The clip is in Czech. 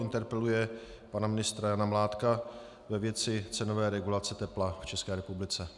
Interpeluje pana ministra Jana Mládka ve věci cenové regulace tepla v České republice.